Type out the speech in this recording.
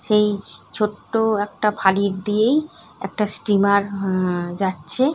সেই ছ ছোট্ট-ও একটা খাঁড়ি দিয়েই একটা স্টিমার আহ-হ যাচ্ছে ।